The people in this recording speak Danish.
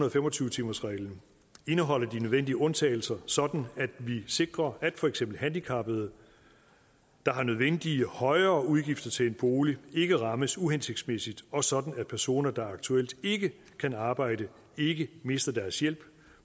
og fem og tyve timersreglen indeholder de nødvendige undtagelser sådan at vi sikrer at for eksempel handicappede der har nødvendige højere udgifter til en bolig ikke rammes uhensigtsmæssigt og sådan at personer der aktuelt ikke kan arbejde ikke mister deres hjælp